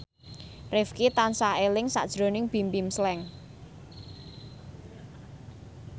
Rifqi tansah eling sakjroning Bimbim Slank